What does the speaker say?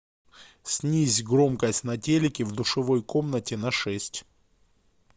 снизь громкость на телике в душевой комнате на шесть